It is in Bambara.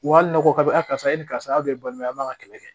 Wa hali ne ko k'a bɛ a karisa e ni karisa a bɛɛ ye balima ye aw b'a kɛlɛ